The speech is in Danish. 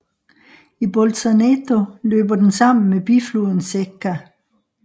I Bolzaneto løber den sammen med bifloden Secca